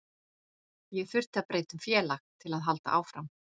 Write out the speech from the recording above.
Ég þurfti að breyta um félag til að halda áfram.